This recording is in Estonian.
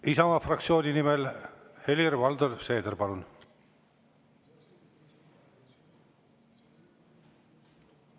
Isamaa fraktsiooni nimel Helir-Valdor Seeder, palun!